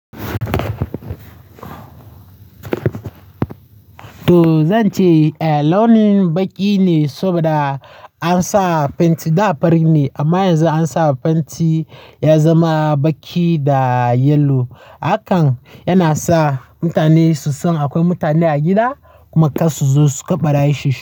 To zan ce, eh launin baƙi ne saboda an sa fenti. Da fari ne amma yanzu an sa penti ya zama baƙi da yellow. Hakan yana sa mutane su san akwai mutane a gida kuma kar barayi su shiga.